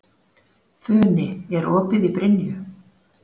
Funi, er opið í Brynju?